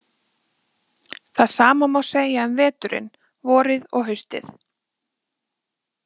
Það sama má segja um veturinn, vorið og haustið.